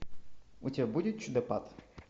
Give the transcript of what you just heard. у тебя будет чудопад